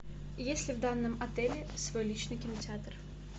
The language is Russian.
есть ли в данном отеле свой личный кинотеатр